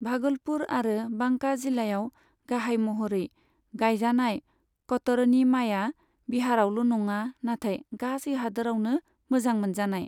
भागलपुर आरो बांका जिल्लायाव गाहाय महरै गायजानाय कतरनी माया बिहारआवल' नङा नाथाय गासै हादोरावनो मोजां मोनजानाय।